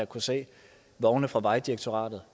kunne se vogne fra vejdirektoratet